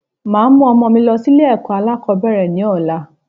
Màá mú ọmọ mi lọ sí Ilé èkó alákòbéèrè ni ọ̀la